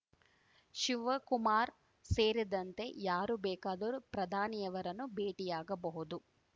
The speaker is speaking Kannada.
ಶಿವಕುಮಾರ್‌ ಸೇರಿದಂತೆ ಯಾರು ಬೇಕಾದರೂ ಪ್ರಧಾನಿಯವರನ್ನು ಭೇಟಿಯಾಗಬಹುದು